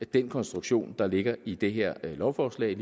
det den konstruktion der ligger i det her lovforslag